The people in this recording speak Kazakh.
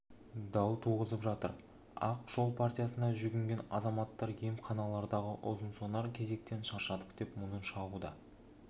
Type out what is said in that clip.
дау туғызып жатыр ақ жол партиясына жүгінген азаматтар емханалардағы ұзын-сонар кезектен шаршадық деп мұңын шағуда